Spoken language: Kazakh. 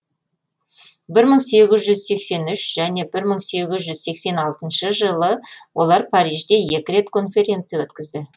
бір мың сегіз жүз сексен үш және бір мың сегіз жүз сексен алтыншы жылы олар парижде екі рет конференция өткізді